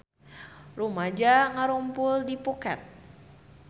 Rumaja ngarumpul di Phuket